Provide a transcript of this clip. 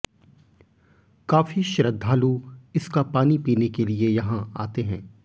काफी श्रद्धालु इसका पानी पीने के लिए यहां आते हैं